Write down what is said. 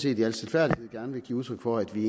i al stilfærdighed gerne vil give udtryk for at vi